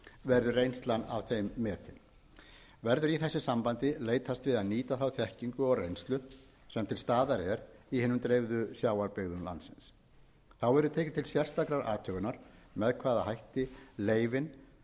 verður reynslan af þeim metin verður í þessu sambandi leitast við að nýta þá þekkingu og reynslu sem til staðar er í hinum dreifðu sjávarbyggðum landsins þá verður tekið til sérstakrar athugunar með hvaða hætti leyfin